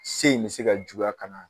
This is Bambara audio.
Se in bɛ se ka juguya ka na.